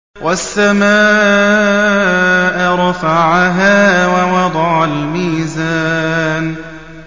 وَالسَّمَاءَ رَفَعَهَا وَوَضَعَ الْمِيزَانَ